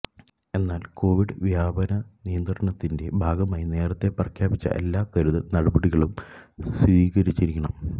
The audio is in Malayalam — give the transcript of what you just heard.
എന്നാല് കൊവിഡ് വ്യാപന നിയന്ത്രണത്തിന്റെ ഭാഗമായി നേരത്തെ പ്രഖ്യാപിച്ച എല്ലാ കരുതല് നടപടികളും സ്വീകരിച്ചിരിക്കണം